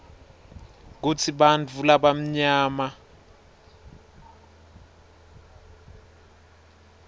kutsi bantfu labamnyama